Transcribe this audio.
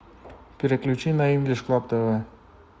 переключи на инглиш клаб тв